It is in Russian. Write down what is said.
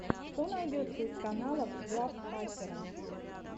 что найдется из каналов глав хакера